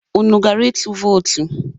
Unu gara ịtụ vootu?